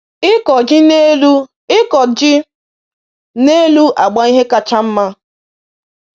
Ịkọ ji n'elu Ịkọ ji n'elu agba ihe kacha nma.